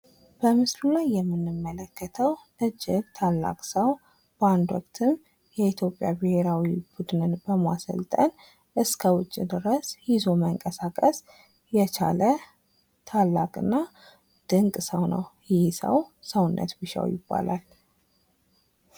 በምስሉ ላይ የምንመለከተው እጅግ ታላቅ ሠው በአንድ ወቅትም የኢትዮጵያ ብሔራዊ ቡድንን በማሰልጠን እስከ ውጪ ድረስ ይዞ መንቀሳቀስ የቻለ ታላቅ ና ድንቅ ሰው ነው ይህ ሰው ሰውነት ቢሻው ይባላል።